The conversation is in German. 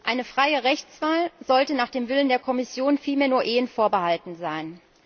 Eine freie Rechtswahl sollte nach dem Willen der Kommission vielmehr nur Ehen vorbehalten sein.